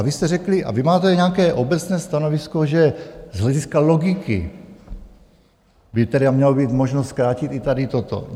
A vy jste řekli, a vy máte nějaké obecné stanovisko, že z hlediska logiky by tedy měla být možnost zkrátit i tady toto.